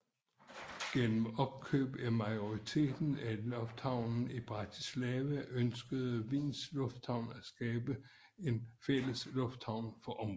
Gennem opkøb af majoriteten af lufthavnen i Bratislava ønskede Wiens Lufthavn at skabe en fælles lufthavn for området